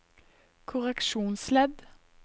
korreksjonsledd